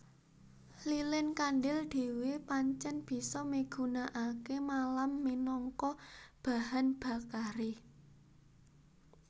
Lilin kandhil dhéwé pancèn bisa migunakaké malam minangka bahan bakaré